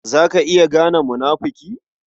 Za ka iya gane munafuki?